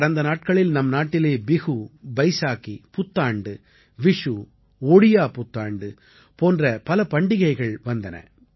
கடந்த நாட்களில் நம் நாட்டிலே பிஹூ பைசாகீ புத்தாண்டு விஷூ ஒடியா புத்தாண்டு போன்ற பல பண்டிகைகள் வந்தன